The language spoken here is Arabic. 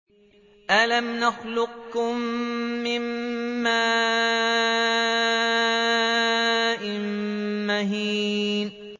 أَلَمْ نَخْلُقكُّم مِّن مَّاءٍ مَّهِينٍ